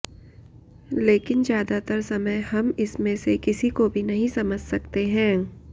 लेकिन ज्यादातर समय हम इसमें से किसी को भी समझ नहीं सकते हैं